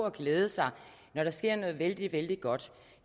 at glæde sig når der sker noget der er vældig vældig godt